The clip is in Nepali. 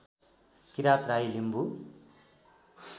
किरात राई लिम्बु